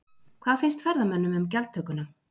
Hvað finnst ferðamönnum um gjaldtökuna?